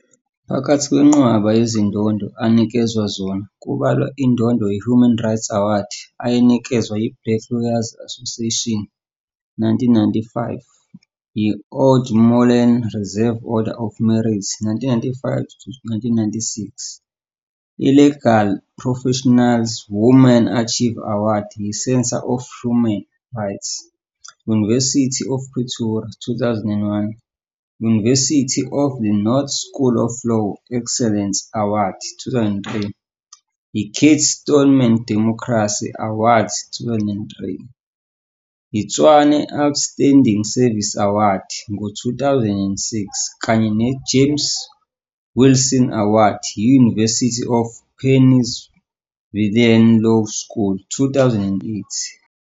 Phakathi kwenqwaba yezindondo anikezwe zona kubalwa indondo yeHuman Rights Award eyanikezwa yiBlack Lawyers Association, 1995, i-Oude Molen Reserve Order of Merit, 1995 to 1996, iLegal Profession's Woman Achiever Award yiCentre for Human Rights, University of Pretoria, 2001, University of the North School of Law Excellence Award, 2003, i-Kate Stoneman Democracy Award, 2003, i-Tshwane Outstanding Service Award, TOSA ngo-2006 kanye ne-James Wilson Award yi-University of Pennsylvania Law School, 2008.